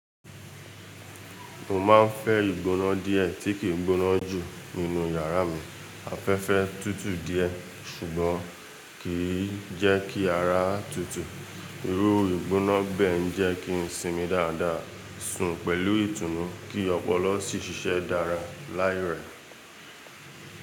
Mo máa ń fẹ́ ìgbóná díẹ̀ tí kì í gbóná jù nínú yàrá mi. Afẹ́fẹ́ tútù díẹ̀ ṣùgbọ́n kì í jẹ́ kí ara tútù. Irú ìgbóná gbẹ̀ ń jẹ́ kí ń sinmi dáadáa, sùn pẹ̀lú ìtùnú ki ọpọlọ sìí ṣiṣe dára láì rẹ.